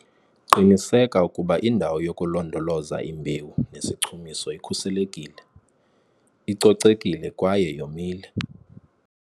Qiniseka ukuba indawo yokulondoloza imbewu nesichumiso ikhuselekile, icocekile kwaye yomile.